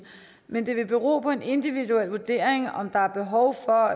men det vil bero på en individuel vurdering om der er behov for